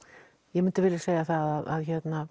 ég myndi segja það að